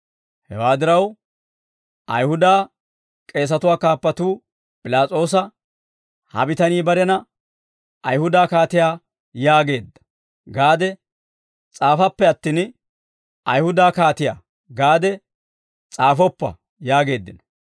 Hewaa diraw, Ayihuda k'eesatuwaa kaappatuu P'ilaas'oosa, « ‹Ha bitanii barena Ayihuda kaatiyaa yaageedda› gaade s'aafappe attin, ‹Ayihuda kaatiyaa› gaade s'aafoppa» yaageeddino.